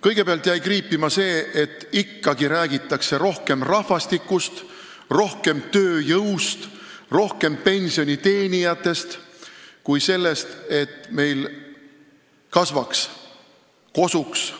Kõigepealt jäi kriipima see, et ikka räägitakse rohkem rahvastikust, tööjõust ja pensioniteenijatest kui sellest, et meil kasvaks, kosuks ja